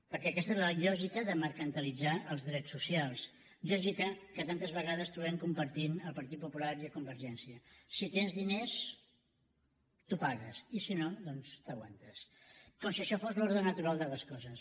perquè aquesta és lògica de mercantilitzar els drets socials lògica que tantes vegades trobem compartint el partit popular i convergència si tens diners t’ho pagues i si no doncs t’aguantes com si això fos l’ordre natural de les coses